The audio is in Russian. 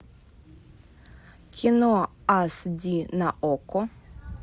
кино ас ди на окко